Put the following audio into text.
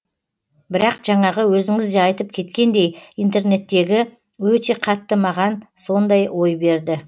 бірақ жаңағы өзіңіз де айтып кеткендей интернеттегі өте қатты маған сондай ой берді